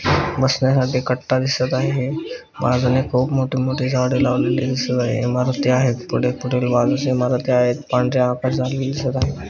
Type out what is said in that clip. बसण्यासाठी कट्टा दिसत आहे बाजून खुप मोठी मोठी झाडे लावलेली दिसत आहे इमारती आहेत पुढे पुढे इमारती आहेत पांढरे आकाश झालमिल दिसत आहे.